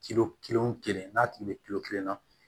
kelen wo kelen n'a tigi be kelen na